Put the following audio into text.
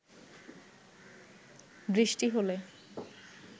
বৃষ্টি হলে